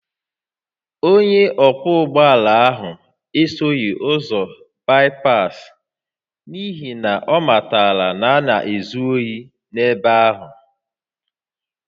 Onye ọkwọ ụgbọ ala ahụ esoghị ụzọ baịpaasị n’ihi na ọ matara na a na-ezu ohi n’ebe ahụ